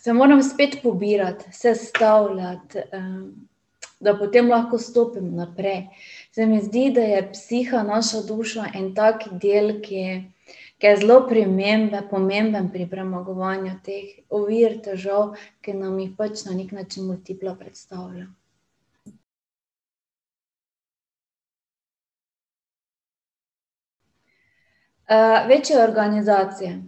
se moram spet pobirati, sestavljati, da potem lahko stopim naprej. Se mi zdi, da je psiha naša duša en tak del, ki je zelo pomemben pri premagovanju teh ovir, težav, ki nam jih pač na neki način multipla predstavlja. večje organizacije.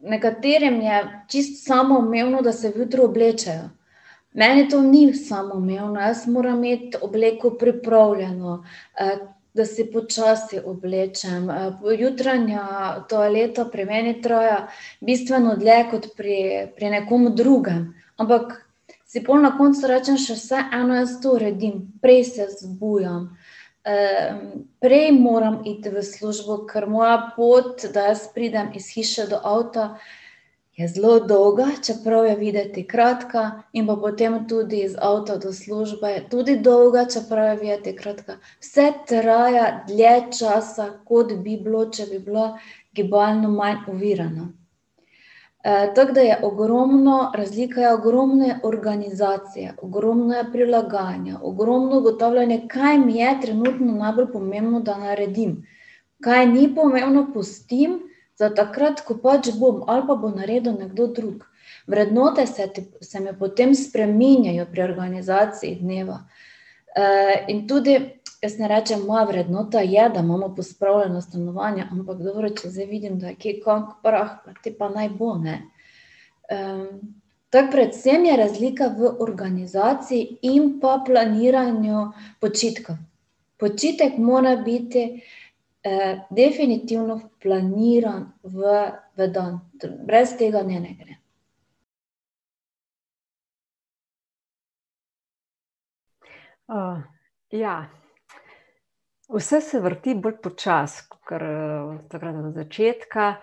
Nekaterim je čisto samoumevno, da se vjutro oblečejo, meni to ni samoumevno, jaz moram imeti obleko pripravljeno, da si počasi oblečem, jutranja toaleta pri meni traja bistveno dlje kot pri nekom drugem, ampak si pol na koncu rečem, še vseeno jaz to uredim, prej se zbujam, prej moram iti v službo, ker moja pot, da jaz pridem iz hiše do avta, je zelo dolga, čeprav je videti kratka in pa potem tudi iz avta do službe, tudi dolga, čeprav je videti kratka. Vse traja dlje časa, kot bi bilo, če bi bila gibalno manj ovirana. tako da je ogromno razlika, je ogromne organizacija, ogromno je prilagajanja, ogromno je ugotavljanja, kaj mi je trenutno najbolj pomembno, da naredim. Kaj ni pomembno, pustim za takrat, ko pač bom, ali pa bo naredil nekdo drug. Vrednote se ti se mi potem spreminjajo pri organizaciji dneva. in tudi jaz ne rečem, moja vrednota je, da imamo pospravljeno stanovanje, ampak dobro je, če zdaj vidim, da je kje kak prah, potem pa naj bo, ne ... to je predvsem, je razlika v organizaciji in pa planiranju počitka. Počitek mora biti, definitivno planiran v dan, brez tega ne ne gre. ja vse se vrti bolj počasi, kakor takrat od začetka.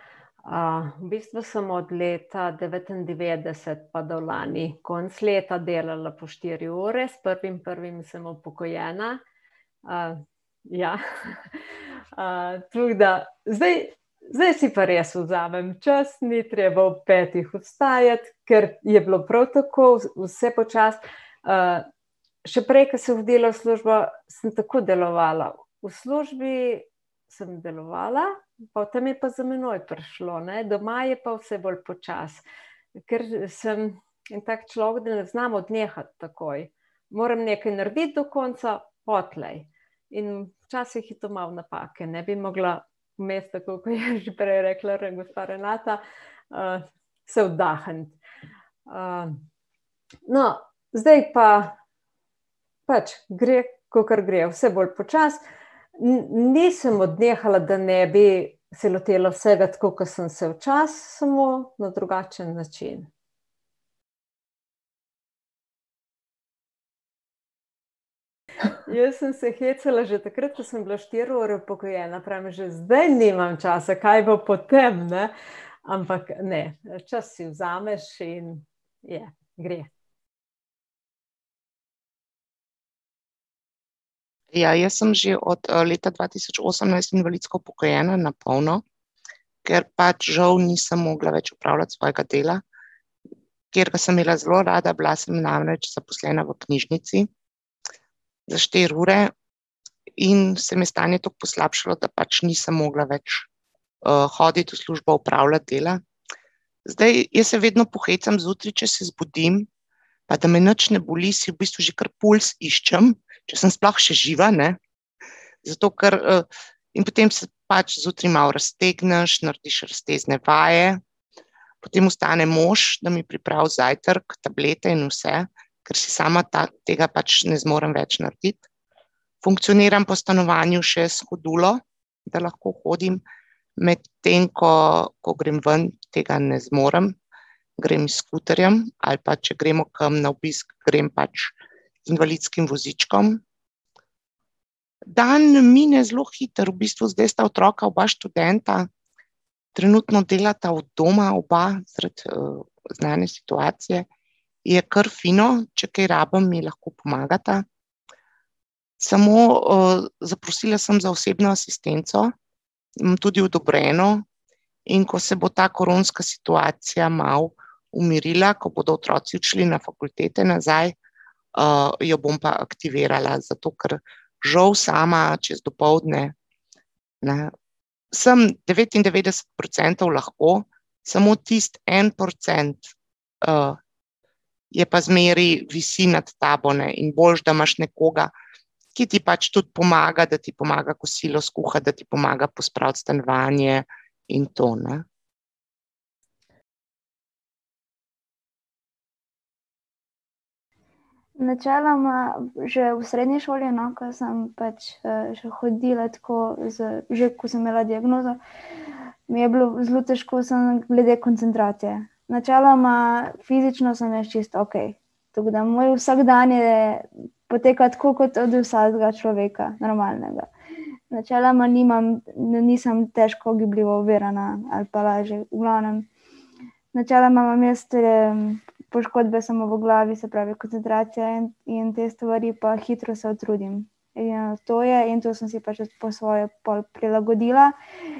v bistvu sem od leta devetindevetdeset pa do lani konec leta delala po štiri ure, s prvim prvim sem upokojena. ja, tako da zdaj zdaj si pa res vzamem čas, ni treba ob petih vstajati, ker je bilo prav tako vse počasi, še prej, ko sem hodila v službo, samo tako delovala, v službi samo delovala, potem je pa za menoj prišlo, ne, doma pa je vse bolj počasi, ker sem en tak človek, da ne znam odnehati takoj, moram nekaj narediti do konca, potlej in včasih je to malo napake, ne, bi mogla imeti tako, kot je že prej rekla gospa Renata, se oddahniti. no, zdaj pa pač gre, kakor gre, vse bolj počasi. nisem odnehala, da ne bi se lotila vsega, tako kot sem se včasih, samo na drugačen način. Jaz sem se hecala že takrat, ko sem bila štiri ure upokojena, pravim: "Že zdaj nimam časa, kaj bo potem, ne," ampak, ne, čas si vzameš in je, gre. Ja, jaz sem že od, leta dva tisoč osemnajst invalidsko upokojena na polno, ker pač žal nisem mogla več opravljati svojega dela, katerega sem imela zelo rada, bila sem namreč zaposlena v knjižnici za štiri ure. In se mi je stanje toliko poslabšalo, da pač nisem mogla več, hoditi v službo, opravljati dela, zdaj, jaz se vedno pohecam zjutraj, če se zbudim, pa da me nič ne boli, si v bistvu že kar pulz iščem, če sem sploh še živa, ne. Zato ker, in potem se pač zjutraj malo raztegneš, narediš raztezne vaje. Potem vstane mož, da mi pripravi zajtrk, tablete in vse, ker si sama pač tega ne zmorem več narediti, funkcioniram po stanovanju še s hoduljo, da lahko hodim, medtem ko, ko grem ven, tega ne zmorem. Grem s skuterjem, ali pa če gremo kam na obisk, grem pač z invalidskim vozičkom. Dan mine zelo hitro, v bistvu zdaj sta otroka oba študenta, trenutno delata od doma oba zaradi, znane situacije. Je kar fino, če kaj rabim, mi lahko pomagata. Samo, zaprosila sem za osebno asistenco, imam tudi odobreno, in ko se bo ta koronska situacija malo umirila, ko bodo otroci odšli na fakultete nazaj, jo bom pa aktivirala, zato ker žal sama čez dopoldne, ne, samo devetindevetdeset procentov lahko samo tisti en procent, je pa zmeraj, visi nad tabo, ne, in boljše, da imaš nekoga, ki ti pač tudi pomaga, da ti pomaga kosilo skuhati, da ti pomaga pospraviti stanovanje in to, ne. Načeloma že v srednji šoli, no, ko sem pač, še hodila tako z že, ko sem imela diagnozo, mi je bilo zelo težko sem glede koncentracije. Načeloma fizično sem jaz čisto okej. Tako da moj vsakdan je, poteka tako kot od vsakega človeka, normalnega. Načeloma nimam, nisem težko gibljivo ovirana ali pa lažje v glavnem, načeloma imam jaz tudi poškodbe samo v glavi, se pravi koncentracija in in te stvari, hitro se utrudim. Ja, to je in to sem si pač tudi po svoje pol prilagodila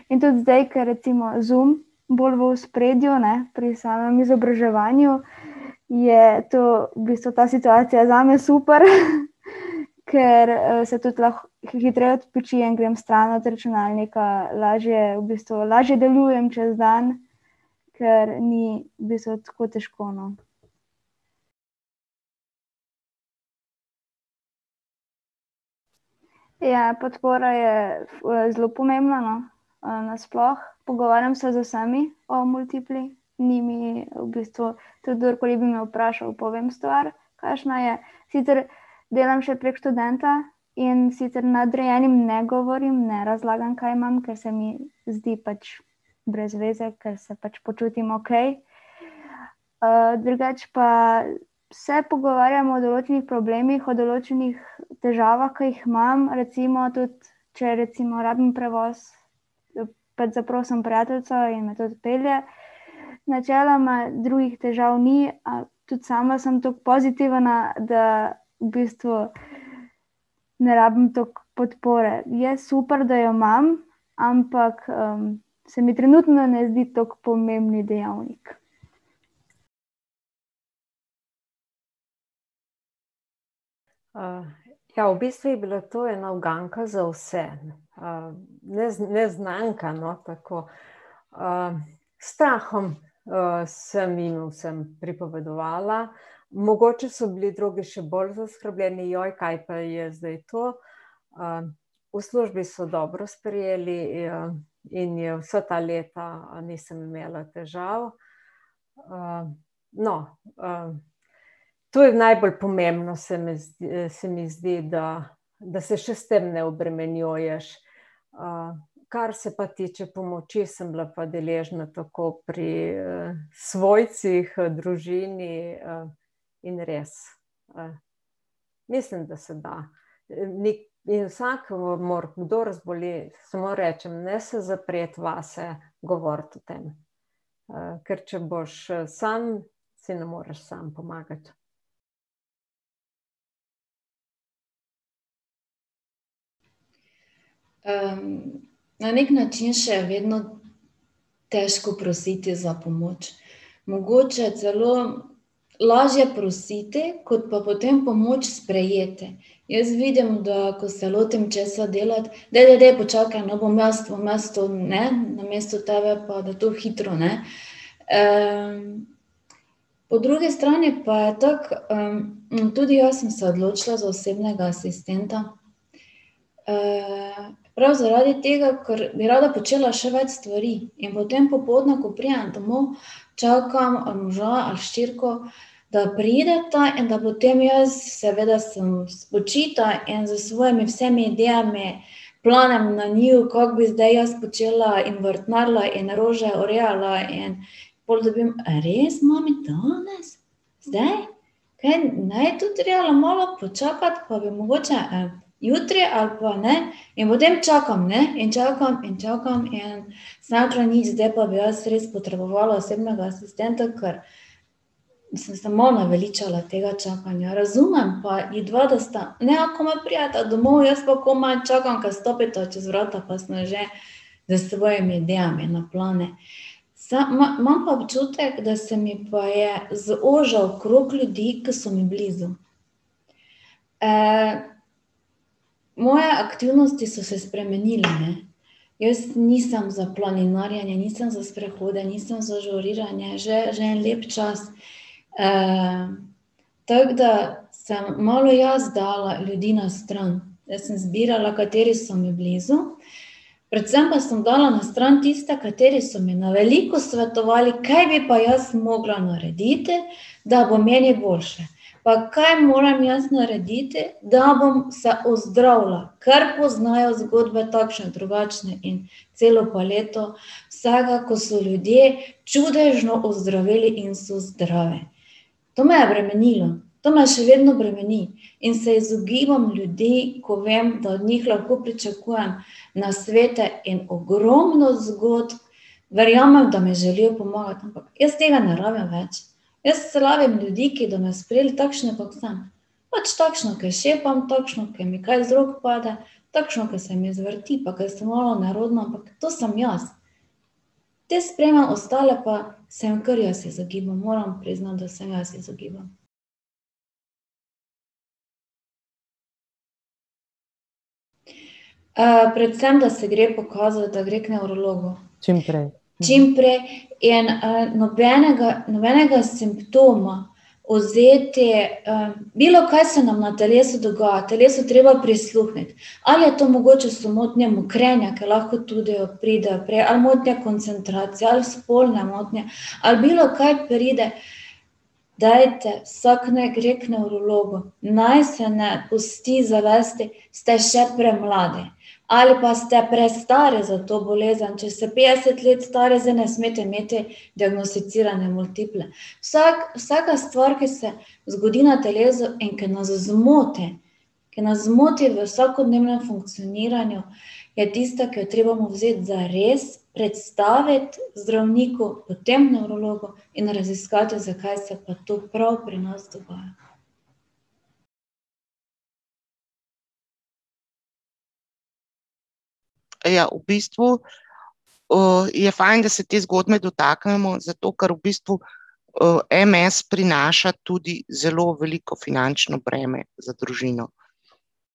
in tudi zdaj, kar recimo Zoom bolj v ospredju, ne, pri samem izobraževanju je to v bistvu ta situacija zame super, ker, se tudi lahko hitreje odpočijem, grem stran od računalnika, lažje v bistvu, lažje delujem čez dan, ker ni v bistvu tako težko, no. Ja, podpora je, zelo pomembna, no. nasploh pogovarjam se z vsemi o multipli, ni mi v bistvu, tudi kdorkoli bi me vprašal, povem stvar, kakšna je. Sicer delam še prek študenta, in sicer nadrejenim ne govorim, ne razlagam, kaj imam, ker se mi zdi pač brez veze, ker se pač počutim okej. drugače pa se pogovarjam o določenih problemih, o določenih težavah, ki jih imam recimo tudi, če recimo rabim prevoz, pač zaprosim prijateljico in me tudi pelje. Načeloma drugih težav ni, tudi sama sem toliko pozitivna, da v bistvu ne rabim toliko podpore, je super, da jo imam ampak, se mi trenutno ne zdi toliko pomemben dejavnik. ja, v bistvu je bila to ena uganka za vse, neznanka, no, tako, s strahom, sem jim vsem pripovedovala. Mogoče so bili drugi še bolj zaskrbljeni: kaj pa je zdaj to?" v službi so dobro sprejeli in je vsa ta leta nisem imela težav, no, to je najbolj pomembno se mi se mi zdi, da da se še s tem ne obremenjuješ, kar se pa tiče pomoči, sem bila pa deležna tako pri, svojcih, družini, in res, mislim, da se da. In vsakomur, kdor zboli, samo rečem, ne se zapreti vase, govoriti o tem, ker če boš sam, si ne moreš sam pomagati. na neki način še vedno težko prositi za pomoč. Mogoče je celo lažje prositi, kot pa potem pomoč sprejeti. Jaz vidim, da ko se lotim česa delati, "Daj, daj, daj počakaj, no, bom jaz to, bom jaz to, ne, namesto tebe, pa da to hitro, ne," po drugi strani pa je tako, tudi jaz sem se odločila za osebnega asistenta, prav zaradi tega, ker bi rada počela še več stvari, in potem popoldne, ko pridem domov, čakam ali moža ali hčerko, da prideta in da potem jaz seveda sem spočita in s svojimi vsemi idejami planem na njiju, kako bi zdaj jaz počela in vrtnarila in rože urejala in pol dobim: "Res, mami? Danes? Zdaj? Kaj ne bi bilo treba malo počakati pa bi mogoče en jutri ali pa ne?" In potem čakam, ne, in čakam in čakam in ... Sem rekla, nič, zdaj pa bi jaz res potrebovala osebnega asistenta, ker sem se malo naveličala tega čakanja, razumem pa vidva, da sta, ne, komaj prideta domov, jaz pa komaj čakam, ko stopita čez vrata, pa sem že s svojimi idejami na plano. imam pa občutek, da se mi pa je zožal krog ljudi, ke so mi blizu. moje aktivnosti so se spremenile, ne. Jaz nisem za planinarjenje, nisem za sprehode, nisem za žuriranje, že, že en lep čas. tako da sem malo jaz dala ljudi na stran. Jaz sem zbirala, kateri so mi blizu. Predvsem pa sem dala na stran tiste, kateri so mi na veliko svetovali, kaj bi pa jaz mogla narediti, da bi meni boljše pa kaj moram jaz narediti, da bom se ozdravila, ker poznajo zgodbe takšne drugačne in celo paleto, vsega, ko so ljudje čudežno ozdraveli in so zdravi. To me je bremenilo, to me še vedno bremeni. In se izogibam ljudi, ko vem, da od njih lahko pričakujem nasvete in ogromno zgodb. Verjamem, da mi želijo pomagati, ampak jaz tega ne rabim več, jaz rabim ljudi, ki do me sprejeli takšno, kot sem. Pač takšna, ki šepam, takšno, ko mi kaj z rok pade, takšna, ko se mi zvrti, pa ko sem malo nerodna, ampak to sem jaz. Te sprejemam, ostale pa se jim kar jaz izogibam, moram priznati, da se jaz izogibam. predvsem da se gre pokazati, da gre k nevrologu. Čimprej. Čimprej in, nobenega nobenega simptoma vzeti, bilokaj se nam na telesu dogaja, telesu je treba prisluhniti. Ali je to mogoče so motnje mokrenja, ker lahko pride tudi ali motnje koncentracije ali spolne motnje ali bilokaj pride, dajte, vsak naj gre k nevrologu, naj se ne pusti zavesti, ste še premladi. Ali pa ste prestari za to bolezen, če ste petdeset let stari, zdaj ne smete imeti diagnosticirane multiple, vsak, vsaka stvar, ki se zgodi na telesu in ki nas zmoti, ki nas zmoti v vsakodnevnem funkcioniranju, je tista, ki jo trebamo vzeti zares, predstaviti zdravniku, potem nevrologu in raziskati, zakaj se pa to prav pri nas dogaja. ja v bistvu, je fajn, da se te zgodbe dotaknemo, zato ker v bistvu, MS prinaša tudi zelo veliko finančno breme za družino.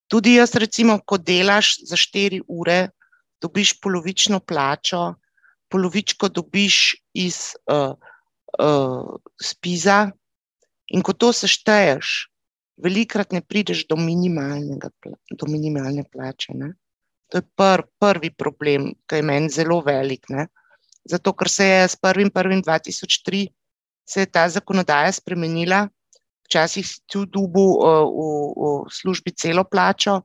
Tudi jaz recimo, ko delaš za štiri ure, dobiš polovično plačo, polovičko dobiš iz, SPIZ-a, in ko to sešteješ, velikokrat ne prideš do minimalnega do minimalne plače, ne. To je prvi problem, ke je meni zelo velik, ne, zato ker se je s prvim prvim dva tisoč tri, se je ta zakonodaja spremenila. Včasih si tudi dobil, v, v, v službi celo plačo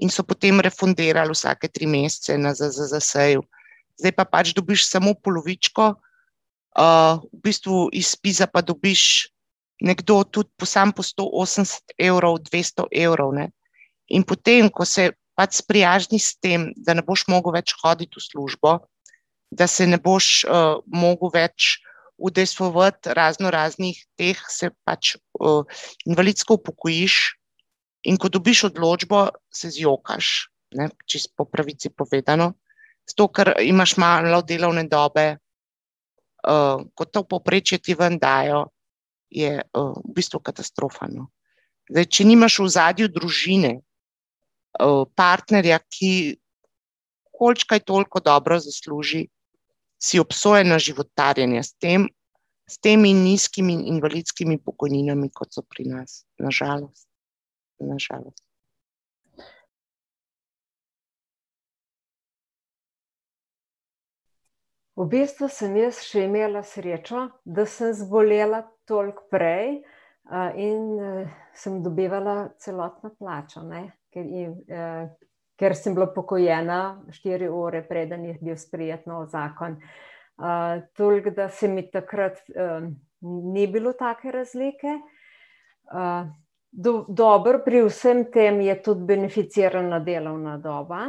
in so potem refundirali vsake tri mesece na ZZZS-ju. Zdaj pa pač dobiš pač samo polovičko, v bistvu iz SPIZ-a pa dobiš nekdo tudi po samo po sto osemdeset evrov, dvesto evrov, ne. In potem, ko se pač sprijazniš s tem, da ne boš več mogel hoditi v službo, da se ne boš, mogel več udejstvovati raznoraznih teh, se pač invalidsko upokojiš. In ko dobiš odločbo, se zjokaš, ne, čisto po pravici povedano, zato ker imaš malo delovne dobe, ko to povprečje ti ven dajo, je, v bistvu katastrofa, no. Zdaj če nimaš v ozadju družine, partnerja, ki količkaj toliko dobro zasluži, si obsojen na životarjenje s tem, s temi nizkimi invalidskimi pokojninami, kot so pri nas, na žalost, na žalost. V bistvu sem jaz še imela srečo, da sem zbolela toliko prej, in, samo dobivala celotno plačo, ne, Ker sem bila upokojena štiri ure, preden je bil sprejet novi zakon, toliko, da se mi takrat ni bilo take razlike, dobro pri vsem tem je tudi beneficirana delovna doba.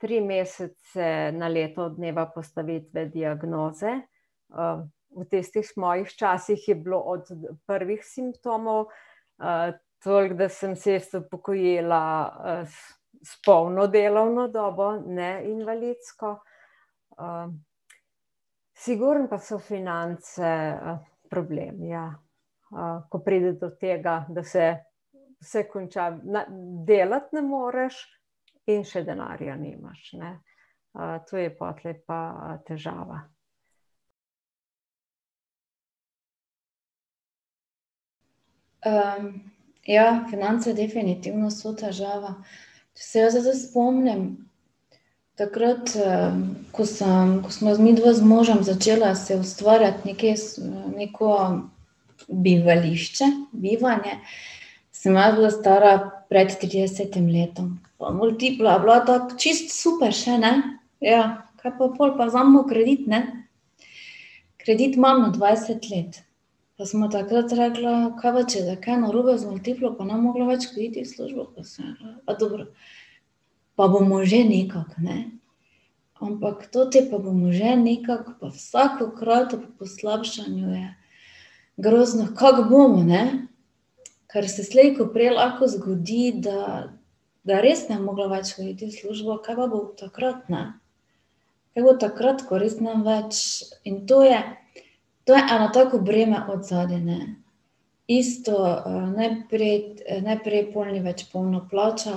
Tri mesece na leto od dneva postavitve diagnoze. v tistih mojih časih je bilo od prvih simptomov, toliko, da sem se jaz upokojila s polno delovno delovno dobo, ne invalidsko. sigurno pa so finance problem, ja. ko pride do tega, da se vse konča, delati ne moreš in še denarja nimaš, ne. to je potlej pa težava. ja, finance definitivno so težava. jaz se zdaj spomnim, takrat, ko sem, ko sva midva z možem začela si ustvarjati nekaj neko bivališče, bivanje, sem jaz bila stara pred tridesetim letom pa multipla je bila tako čisto super še, ne. Kaj pa pol pa vzemimo kredit, ne. Kredit imamo dvajset let pa sva takrat rekla: "Kaj pa če bo kaj narobe z multiplo pa ne bom mogla več hoditi v službo," pa sem rekla: "Pa dobro, pa bomo že nekako, ne." Ampak ta "pa bomo že nekako" pa vsakokrat ob poslabšanju je grozno, kako bomo, ne? Ker se slej ko prej lahko zgodi, da da res ne bom mogla več hoditi v službo, kaj pa bom takrat, ne? Kaj bo takrat, ko res ne bom več. In to je, to je eno tako breme od zadaj, ne. Isto, najprej, najprej pol ni več polna plača,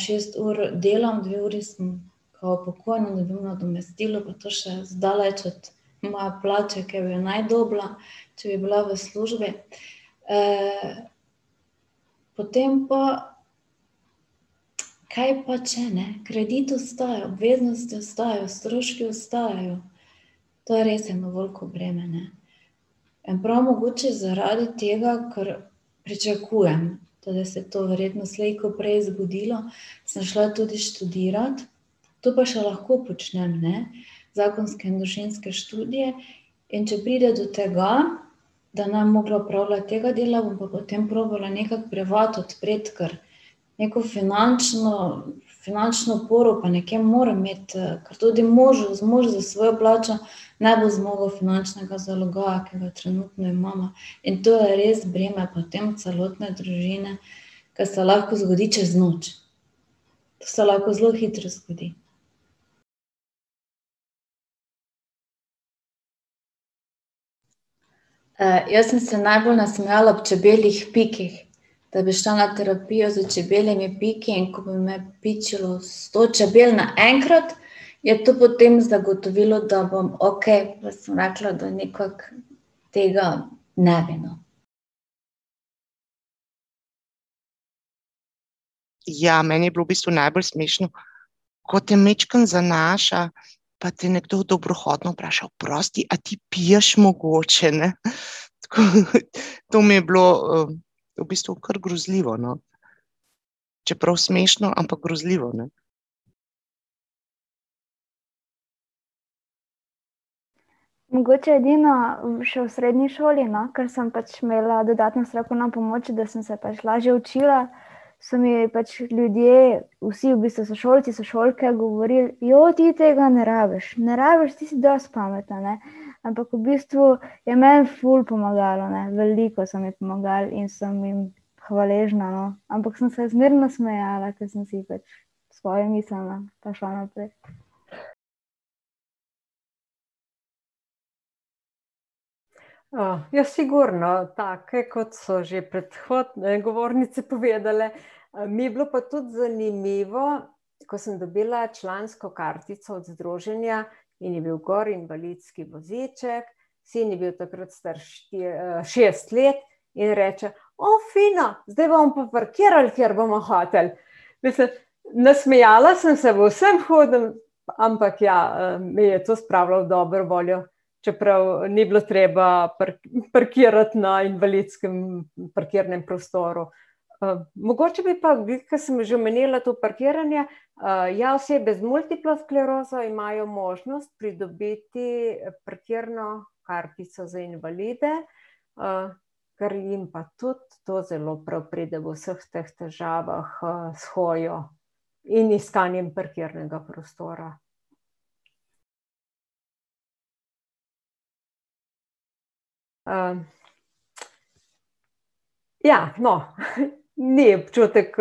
šest ur delam, dve uri sem kao upokojena, dobim nadomestilo pa to še zdaleč od moje plače, ki bi jo naj dobila, če bi bila v službi. potem pa, kaj pa če, ne, kredit ostaja, obveznosti ostajajo, stroški ostajajo, to je res eno veliko breme, ne. In prav mogoče zaradi tega, ker pričakujem , se to verjetno slej ko prej zgodilo, sem šla tudi študirat, to pa še lahko počnem, ne. Zakonske in družinske študije, in če pride do tega, da ne bom mogla opravljati tega dela, bom pa potem probala nekako privat odpreti, ker neko finančno finančno oporo pa nekje moram imeti, ker tudi možu, mož s svojo plačo ne bo zmogel finančnega zalogaja, ki ga trenutno imava, in to je res breme potem celotne družine, ker se lahko zgodi čez noč, to se lahko zelo hitro zgodi. jaz sem se najbolj nasmejala ob čebeljih pikih, da bi šla na terapijo s čebeljimi piki. In ko bi me pičilo sto čebel naenkrat, je to potem zagotovilo, da bom okej, pa sem rekla, da nekako tega ne bi, no. Ja, meni je bilo v bistvu najbolj smešno, ko te majčkeno zanaša, pa te nekdo dobrohotno vpraša: "Oprosti, a ti piješ mogoče?" Ne, tako, to mi je bilo v bistvu, kar grozljivo, no. Čeprav smešno, ampak grozljivo, ne. Mogoče edino še v srednji šoli, no, ker sem pač imela dodatno strokovno pomoč, da sem se pač lažje učila, so mi pač ljudje vsi v bistvu sošolci sošolke govorili: ti tega ne rabiš, ne rabiš, ti si dosti pametna", ne, ampak v bistvu je meni ful pomagalo, ne, veliko so mi pomagali in sem jim hvaležna, no, ampak sem se zmeraj nasmejala, ko sem si pač svoje mislila pa šla naprej. ja, sigurno take, kot so že prehodne govornice povedale. mi je bilo pa tudi zanimivo, ko sem dobila člansko kartico od združenja in je bil gor invalidski voziček, sin je bil takrat star šest let in reče: fino zdaj bomo pa parkirali, kjer bomo hoteli." Mislim, nasmejala sem se v vsem hudem, ampak ja, me je to spravilo v dobro voljo, čeprav ni bilo treba parkirati na invalidskem parkirnem prostoru. mogoče bi pa glih ke sem že omenila to parkiranje, ja, osebe z multiplo sklerozo imajo možnost pridobiti parkirno kartico za invalide. kar jim pa tudi to zelo prav pride v vseh teh težavah, s hojo in iskanjem parkirnega prostora. ja no, ni občutek,